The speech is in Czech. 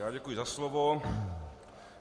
Já děkuji za slovo.